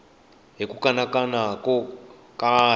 ni ku kanakana ko karhi